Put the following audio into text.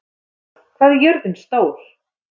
Indíra, hvað er jörðin stór?